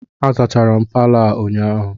A zachara m Palọ a ụnyahụ